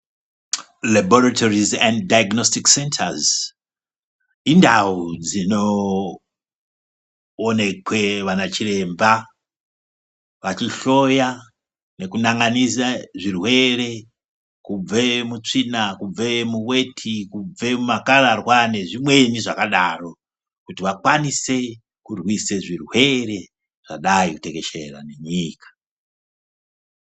Rabhoritorisi endi dhaignositiki sendazi indau dzinoonekwe vanachiremba vachihloya nekunan'anise zvirwere kubve mutsvina, kubve muweti, kubve mumakararwa nezvimwe zvakadaro, kuti vakwanise kurwise zvirwere zvadai kutekeshera nenyika.